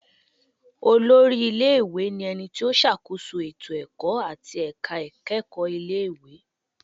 Olórí ilé-ìwé ni ẹni tí ó ṣàkóso ètò ẹ̀kọ́ àti ẹ̀ka ìkẹ́kọ̀ọ́ ilé ìwé